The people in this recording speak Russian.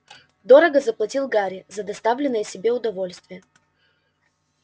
дорого заплатил гарри за доставленное себе удовольствие